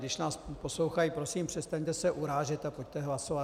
Když nás poslouchají, prosím, přestaňte se urážet a pojďte hlasovat.